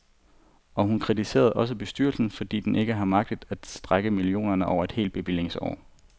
Og hun kritiserer også bestyrelsen, fordi den ikke har magtet at strække millionerne over et helt bevillingsår.